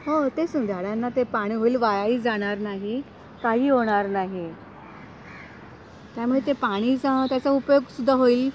तेच ना झाडांना ते पाणी होईल वाया जाणार नाही काही होणार नाही त्यामुळे पाणीचा उपयोग सुद्धा होईल.